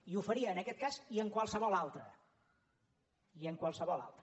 i ho faria en aquest cas i en qualsevol altre i en qualsevol altre